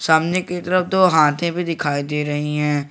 सामने की तरफ दो हाथे भी दिखाई दे रही है।